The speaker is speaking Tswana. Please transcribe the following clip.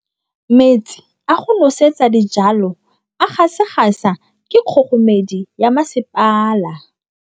Metsi a go nosetsa dijalo a gasa gasa ke kgogomedi ya masepala.